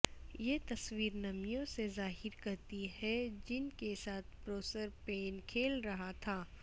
یہ تصویر نمیوں سے ظاہر کرتی ہے جن کے ساتھ پروسرپین کھیل رہا تھا